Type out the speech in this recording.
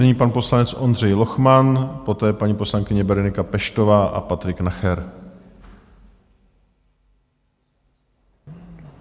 Nyní pan poslanec Ondřej Lochman, poté paní poslankyně Berenika Peštová a Patrik Nacher.